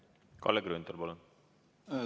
Kalle Grünthal, palun!